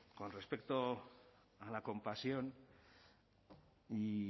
con respecto a la compasión y